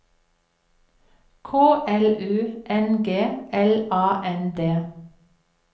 K L U N G L A N D